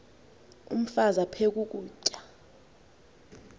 umfaz aphek ukutya